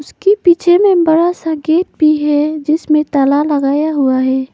उसके पीछे में बड़ा सा गेट भी है जिसमे ताला लगाया हुआ है।